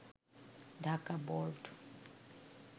Dhaka board